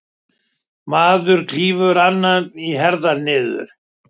Maður klýfur annan í herðar niður.